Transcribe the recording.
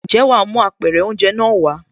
Ǹjẹ́ wàá mú Apẹ̀rẹ̀ oúnjẹ náà wàá?